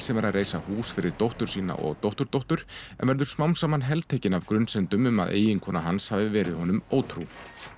sem er að reisa hús fyrir dóttur sína og dótturdóttur en verður smám saman heltekin af grunsemdum um að eiginkona hans hafi verið honum ótrú